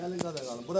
Gəlin qabağa.